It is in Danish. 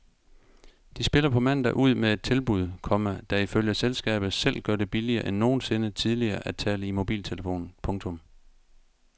De spiller på mandag ud med et tilbud, komma der ifølge selskabet selv gør det billigere end nogensinde tidligere at tale i mobiltelefon. punktum